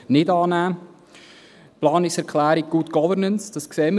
Die Planungserklärung Good Governance: Das sehen wir.